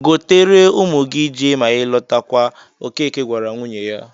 "Gotere ụmụ gị ji ma ị lọtawa," Okeke gwara nwunye ya